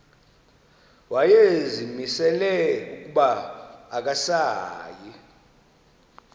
wayezimisele ukuba akasayi